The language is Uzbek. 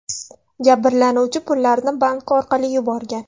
Jabrlanuvchi pullarni bank orqali yuborgan.